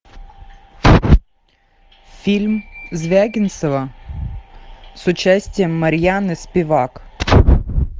фильм звягинцева с участием марьяны спивак